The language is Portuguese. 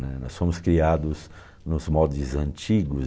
Né, nós fomos criados nos modos antigos.